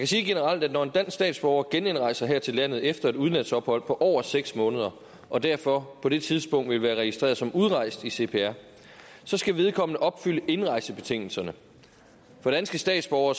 sige generelt at når en dansk statsborger genindrejser her til landet efter et udlandsophold på over seks måneder og derfor på det tidspunkt vil være registreret som udrejst i cpr så skal vedkommende opfylde indrejsebetingelserne for danske statsborgere